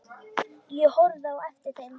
Ég horfði á eftir þeim.